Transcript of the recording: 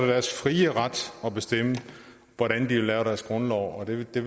deres frie ret at bestemme hvordan de vil lave deres grundlov og det det